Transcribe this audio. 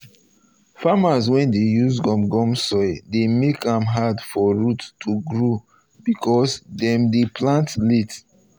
farmers wey dey use gum gum soil dey make am hard for root to grow because dem dey plant late.